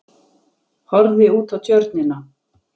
Horfði út á Tjörnina.